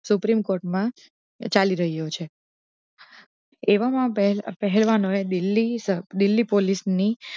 Supreme Court ચાલી રહ્યો છે એવા મા પહેલા દિલ્લી દિલ્લી પોલીસ ની